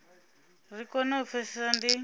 ri kone u pfesesa ndi